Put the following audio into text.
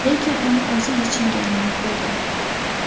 Lekin uni o‘zi yechinganini ko‘rdim.